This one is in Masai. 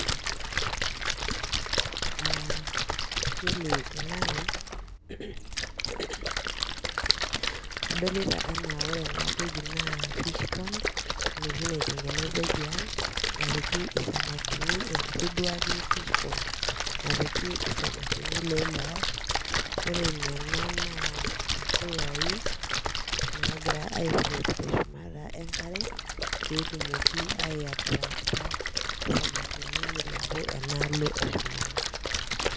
Iyiolo te nanu, kadolita enaa ore ena toki naa fishpond, enoshi naitengenezae tiang' napiki isamikini, enkiti duo ake fishpond napiki isamakini loileyai. Ore nena naa mpuyai nagira aaii float teshumata enkare petumoki aii attracta isamikini milepu enalo eshumata.